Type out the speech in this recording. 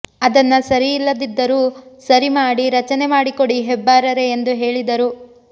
ಅದನ್ನ ಸರಿ ಇಲ್ಲದ್ದಿದ್ದರು ಸರಿ ಮಾಡಿ ರಚನೆ ಮಾಡಿಕೊಡಿ ಹೆಬ್ಬಾರರೇ ಎಂದು ಹೇಳಿದರು